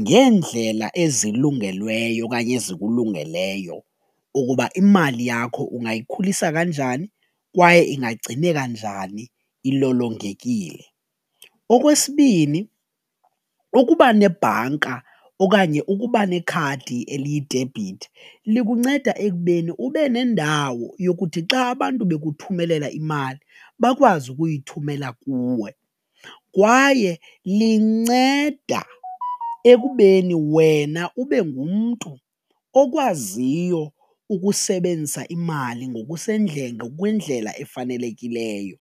ngeendlela ezilungelweyo okanye ezikulungeleyo ukuba imali yakho ungayikhulisa kanjani kwaye ingagcineka njani ilolongekile. Okwesibini, ukuba nebhanka okanye ukuba nekhadi eliyidebhithi likunceda ekubeni ube nendawo yokuthi xa abantu bekuthumelela imali bakwazi ukuyithumela kuwe kwaye linceda ekubeni wena ube ngumntu okwaziyo ukusebenzisa imali ngokwendlela efanelekileyo.